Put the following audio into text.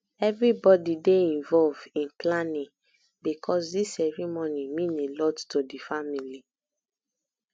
everybody dey involved in planning because this ceremony mean a lot to the family